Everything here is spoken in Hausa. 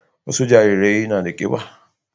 wasu jarirai na da kiba